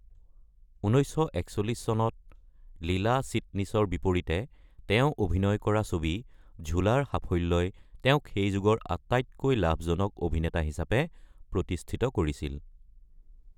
১৯৪১ চনত লীলা চিটনিছৰ বিপৰীতে তেওঁ অভিনয় কৰা ছবি ঝূলা ৰ সাফল্যই তেওঁক সেই যুগৰ আটাইতকৈ লাভজনক অভিনেতা হিচাপে প্ৰতিষ্ঠিত কৰিছিল।